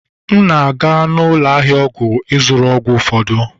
M na-aga ụlọ ahịa ọgwụ ịzụrụ ọgwụ ụfọdụ.